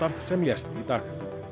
sem lést í dag